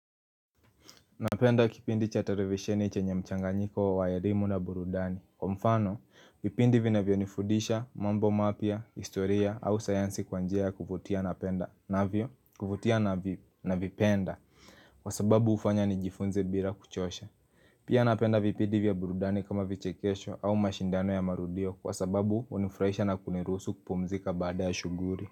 Napenda kipindi cha televisheni chenye mchanganyiko wa elimu na burudani Kwa mfano, vipindi vinavionifundisha, mambo mapya, historia au sayansi kwa njia ya kuvutia napenda navyo, kuvutia na vipenda Kwa sababu ufanya ni jifunze bila kuchosha Pia napenda vipindi vya burudani kama vichekesho au mashindano ya marudio Kwa sababu unifurahisha na kunirusu kupumzika baada ya shughuli.